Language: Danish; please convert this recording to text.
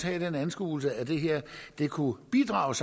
have den anskuelse at det her kunne bidrage